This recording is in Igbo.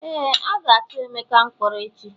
Éè, a ga tu emeka mkpọrọ echi